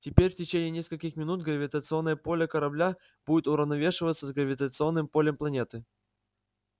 теперь в течение нескольких минут гравитационное поле корабля будет уравновешиваться с гравитационным полем планеты